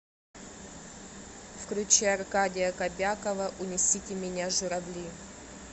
включи аркадия кобякова унесите меня журавли